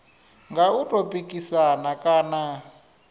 nga u tou pikisana kana